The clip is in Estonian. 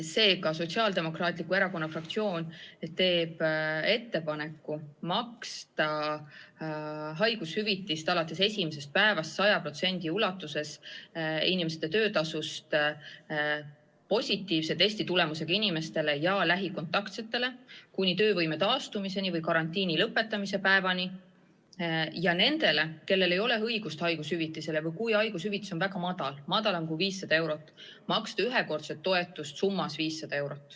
Seega, Sotsiaaldemokraatliku Erakonna fraktsioon teeb ettepaneku maksta haigushüvitist alates esimesest päevast 100% ulatuses inimeste töötasust positiivse testitulemusega inimestele ja lähikontaktsetele kuni töövõime taastumiseni või karantiini lõpetamise päevani ning nendele, kellel ei ole õigust haigushüvitisele või kui haigushüvitis on väga väike, väiksem kui 500 eurot, maksta ühekordset toetust summas 500 eurot.